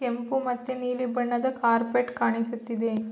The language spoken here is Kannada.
ಕೆಂಪು ಮತ್ತು ನೀಲಿ ಬಣ್ಣದ ಕಾರ್ಪೆಟ್ ಕಾಣಿಸುತ್ತಿದೆ.